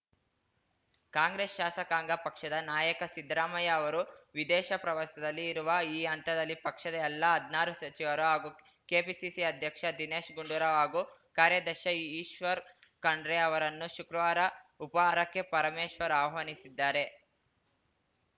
ಕಾಂಗ್ರೆಸ್‌ ಶಾಸಕಾಂಗ ಪಕ್ಷದ ನಾಯಕ ಸಿದ್ದರಾಮಯ್ಯ ಅವರು ವಿದೇಶ ಪ್ರವಾಸದಲ್ಲಿ ಇರುವ ಈ ಹಂತದಲ್ಲಿ ಪಕ್ಷದ ಎಲ್ಲಾ ಹದ್ನಾರು ಸಚಿವರು ಹಾಗೂ ಕೆಪಿಸಿಸಿ ಅಧ್ಯಕ್ಷ ದಿನೇಶ್‌ ಗುಂಡೂರಾವ್‌ ಹಾಗೂ ಕಾರ್ಯಾಧ್ಯಕ್ಷ ಈಶ್ವರ್‌ ಖಂಡ್ರೆ ಅವರನ್ನು ಶುಕ್ರವಾರ ಉಪಾಹಾರಕ್ಕೆ ಪರಮೇಶ್ವರ್‌ ಆಹ್ವಾನಿಸಿದ್ದಾರೆ